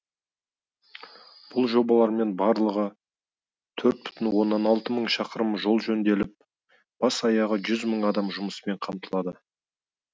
бұл жобалармен барлығы төрт бүтін онан алты мың шақырым жол жөнделіп бас аяғы жүз мың адам жұмыспен қамтылады